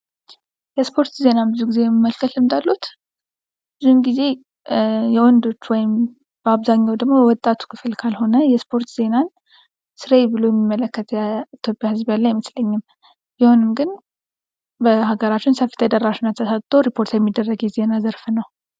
የስፖርት ዜና ብዙ ጊዜ የመመልከት ልምድ አለዎት? ብዙውን ጊዜ የወንዶች ወይም የወጣቱ ክፍል ካልሆነ የስፖርት ዜናን ስራየ ብሎ የሚመለከት የኢትዮጵያ ህዝብ ያለ አይመስለኝም። ቢሆንም ግን በሀገራችን ሰፊ ተደራሽነት ተሰጥቶ ሪፖርት የሚደረግ የዜና ዘርፍ ነው።